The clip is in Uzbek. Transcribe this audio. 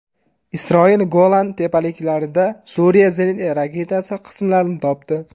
Isroil Golan tepaliklarida Suriya zenit raketasi qismlarini topdi.